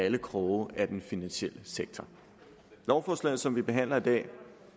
en krog af den finansielle sektor lovforslaget som vi behandler i dag